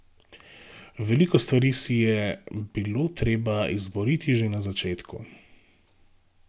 Veliko stvari si je bilo treba izboriti že na začetku.